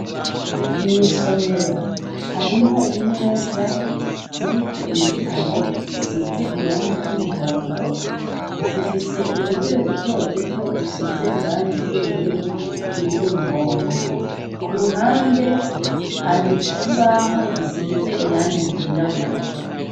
Mw'isomero harimwo imeza ziriko ibitabo zisize irangi ry' umuhondo zifise udutebe dutoduto dusize irangi ry'ubururu ni iryo umuhondo ku ruhande hari ikibaho gisize irangi ryirabura.